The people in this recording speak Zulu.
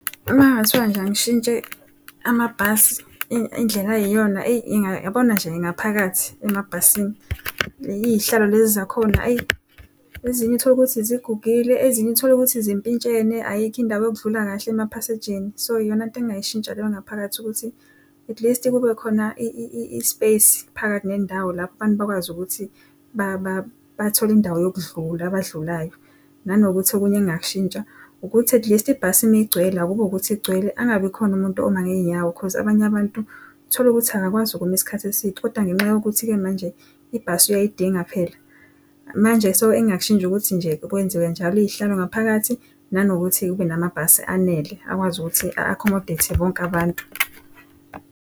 Uma kungathiwa nje angishintshe amabhasi indlela ayiyona eyi yabona nje ngaphakathi emabhasini iy'hlalo lezi zakhona ayi ezinye utholukuthi zigugile ezinye utholukuthi zimpintshene ayikho indawo yokudlula kahle emaphasejini so iyona nto engingayishintsha leyo ngaphakathi ukuthi at least kube khona space phakathi nendawo lapho abantu bakwazi ukuthi bathole indawo yokudlula abadlulayo. Nanokuthi okunye engingakushintsha ukuthi at least ibhasi uma igcwele akube ukuthi igcwele angabikhona umuntu oma ngezinyawo Khoz, abanye abantu tholukuthi akakwazi ukuma isikhathi eside kodwa ngenxa yokuthi ke manje ibhasi uyayidinga phela manje, so engingakushintsha ukuthi nje kwenziwe njalo izihlalo ngaphakathi nanokuthi kube namabhasi anele akwazi ukuthi accommodate bonke abantu.